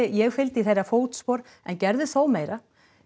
ég fylgdi í þeirra fótspor en gerði þó meira